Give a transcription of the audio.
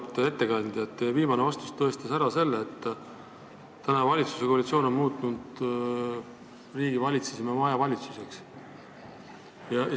Auväärt ettekandja, teie viimane vastus tõestas ära selle, et valitsuskoalitsioon on riigivalitsemise majavalitsuseks muutnud.